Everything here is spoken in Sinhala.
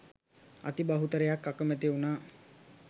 අති බහුතරයක් අකමැති වුණා